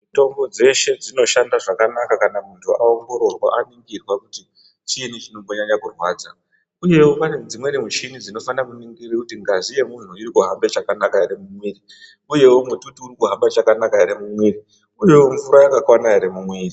Mitombo dzeshe dzinoshanda zvakanaka kana muntu aongorora oningirwa kuti chiini chinombonyanya kurwadza. Uyewo ,pane dzimweni michini dzinofanire kuningire kuti ngazi yemunthu iri kuhambe chakanaka ere mumwiri, uyewo mututu uri kuhamba chakanaka ere mumwiri, uyewo mvura yakakwana ere mumwiri.